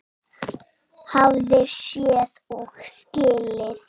Hafði séð og skilið.